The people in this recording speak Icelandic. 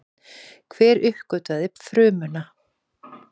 Hver uppgötvaði frumuna?